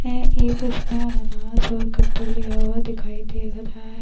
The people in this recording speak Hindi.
है एक उसमे अनानस और कद्दू लिया हुआ दिखाई दे रहा है।